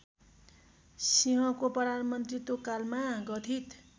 सिंहको प्रधानमन्त्रीत्वकालमा गठित